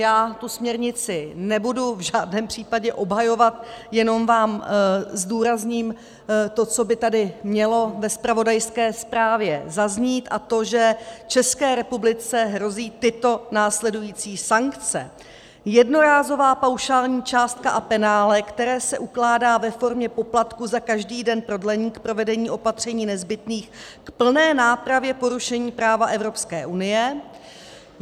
Já tu směrnici nebudu v žádném případě obhajovat, jenom vám zdůrazním to, co by tady mělo ve zpravodajské zprávě zaznít, a to že České republice hrozí tyto následující sankce: Jednorázová paušální částka a penále, které se ukládá ve formě poplatku za každý den prodlení k provedení opatření nezbytných k plné nápravě porušení práva Evropské unie.